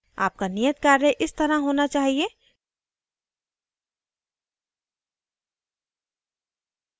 आपका नियत कार्य इस तरह होना चाहिए